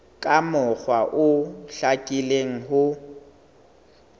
ka mokgwa o hlakileng ho